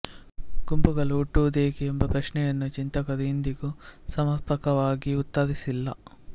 ಗುಂಪುಗಳು ಹುಟ್ಟುವುದೇಕೆ ಎಂಬ ಪ್ರಶ್ನೆಯನ್ನು ಚಿಂತಕರು ಇಂದಿಗೂ ಸಮರ್ಪಕವಾಗಿ ಉತ್ತರಿಸಿಲ್ಲ